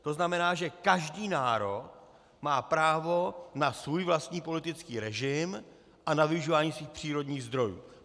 To znamená, že každý národ má právo na svůj vlastní politický režim a na využívání svých přírodních zdrojů.